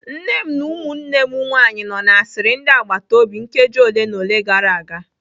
Nne m na ụmụnne m nwanyị nọ na-asịrị ndị agbata obi nkeji ole na ole gara aga.